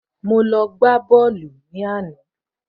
Mo lọ gbá bọ́ọ̀lù ní àná